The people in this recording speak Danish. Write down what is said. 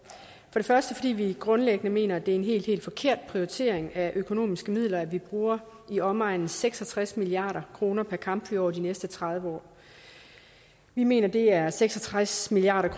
det første fordi vi grundlæggende mener at det er en helt helt forkert prioritering af økonomiske midler at vi bruger i omegnen af seks og tres milliard kroner på kampfly over de næste tredive år vi mener at det er seks og tres milliard